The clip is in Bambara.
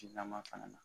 Jilama fana na